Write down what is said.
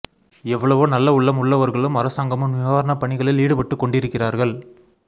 எவ்வளவோ நல்ல உள்ளம் உள்ளவர்களும் அரசாங்கமும் நிவாரணப் பணிகளில் ஈடு பட்டுக் கொண்டிருக்கிறார்கள்